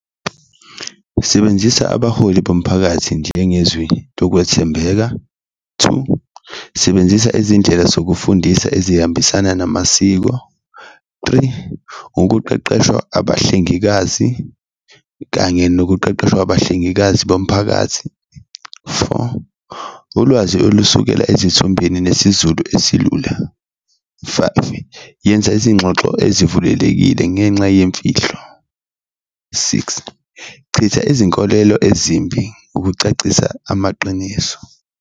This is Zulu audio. Sebenzisa abaholi bomphakathi njengezwi lokwethembeka, two, sebenzisa izindlela zokufundisa ezihambisana namasiko, three, ukuqeqeshwa abahlengikazi kanye nokuqeqeshwa kwabahlengikazi bomphakathi, four, ulwazi olusukela ezithombeni nesiZulu esilula. Five, yenza izingxoxo ezivulekile ngenxa yimfihlo, six, chitha izinkolelo ezimbi kucacisa amaqiniso.